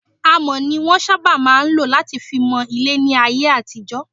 Amọ̀ ni wọn máa ń sábà lọ láti fi mọ ilé láyé àtijọ́.